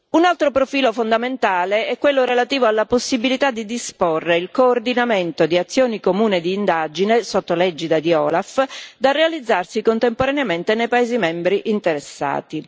Un altro profilo fondamentale è quello relativo alla possibilità di disporre il coordinamento di azioni comuni d'indagine, sotto l'egida dell'OLAF, da realizzarsi contemporaneamente nei paesi membri interessati.